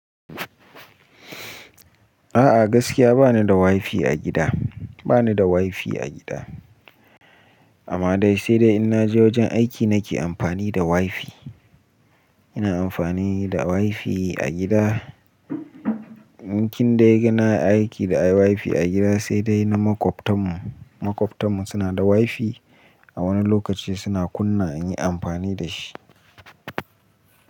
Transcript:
A'a gaskiya ba ni da wifi a gida, ba ni da wifi a gida. Amma dai sai dai in naje wajen aiki nake amfani da wifi. Ina amfani da wifi a gida. Nikin dai gana aiki da wifi a gida sai dai na maƙwabtan mu, maƙwabtan mu suna da wifi. A wani lokaci suna kunna in yi amfani da shi.